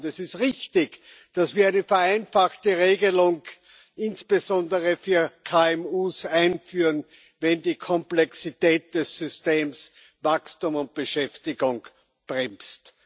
Es ist richtig, dass wir eine vereinfachte Regelung, insbesondere für KMU, einführen, wenn die Komplexität des Systems Wachstum und Beschäftigung bremst.